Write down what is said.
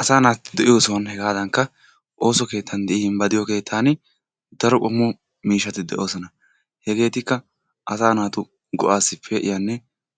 asa naati de'iyo sohuwan hegadankka ooso keettan gidin ba de'iyo keettan daro qommo keettati de'oosona. hegeetikka asaa naatu do''assi pe'iyanne